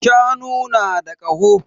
Shanu na da ƙaho